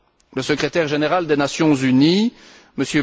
Le secrétaire général des Nations unies, M.